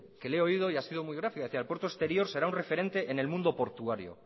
que le he oído y ha sido muy gráfica decía el puerto exterior será un referente en el mundo portuario